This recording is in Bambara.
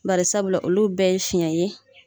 Bari sabula olu bɛɛ ye fiɲɛ ye.